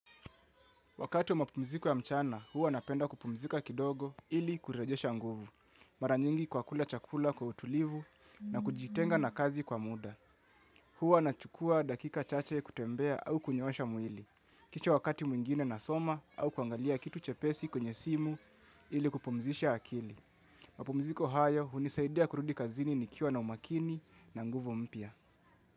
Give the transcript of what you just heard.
Wakati wa mapumziko ya mchana, huwa napenda kupumzika kidogo ili kurejesha nguvu. Mara nyingi kwa kula chakula kwa utulivu na kujitenga na kazi kwa muda. Huwa nachukua dakika chache kutembea au kunyoosha mwili. Kisha wakati mwingine nasoma au kuangalia kitu chepesi kwenye simu ili kupumzisha akili. Mapumziko haya hunisaidia kurudi kazini nikiwa na umakini na nguvu mpya.